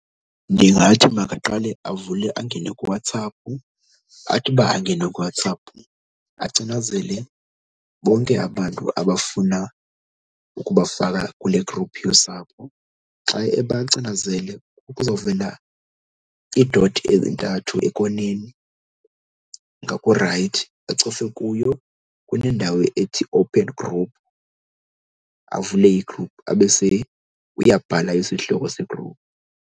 Ndingathi makaqale avule angene kuWhatsApp athi uba angene kuWhatsApp acinazele bonke abantu abafuna ukubafaka kule group yosapho. Xa ebacinazele kuzovela i-dot ezintathu ekoneni ngakurayithi acofe kuyo. Kunendawo ethi, open group, avule i-group. Abe uyabhala isihloko se-group.